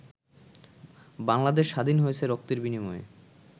বাংলাদেশ স্বাধীন হয়েছে রক্তের বিনিময়ে।